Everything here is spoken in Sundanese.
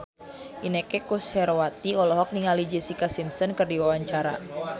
Inneke Koesherawati olohok ningali Jessica Simpson keur diwawancara